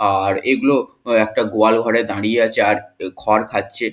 আ-আর এগুলো একটা গোয়ালঘরে দাঁড়িয়ে আছে আর উ খড় খাচ্ছে।